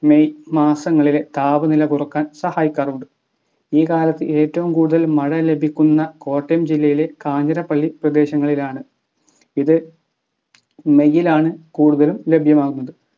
May മാസങ്ങളിലെ താപനില കുറക്കാൻ സഹായിക്കാറുണ്ട് ഈ കാലത്ത് ഏറ്റവും കൂടുതൽ മഴ ലഭിക്കുന്ന കോട്ടയം ജില്ലയിലെ കാഞ്ഞിരപ്പള്ളി പ്രദേശങ്ങളിലാണ് ഇത് may ലാണ് കൂടുതലും ലഭ്യമാകുന്നത്